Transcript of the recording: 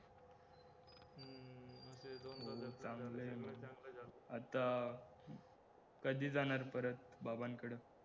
आता कधी जाणार परत बाबांकडं